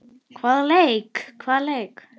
Hvaða leiki?